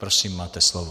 Prosím, máte slovo.